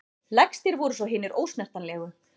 Lægstir voru svo hinir ósnertanlegu.